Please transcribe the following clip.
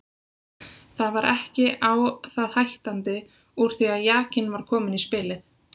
Það var ekki á það hættandi úr því að jakinn var kominn í spilið.